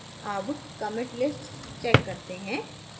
अब commit list check करते हैं